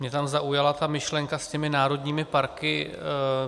Mě tam zaujala ta myšlenka s těmi národními parky.